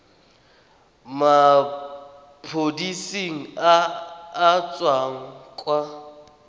maphodiseng a a tswang kwa